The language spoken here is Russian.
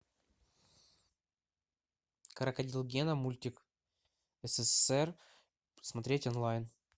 крокодил гена мультик ссср смотреть онлайн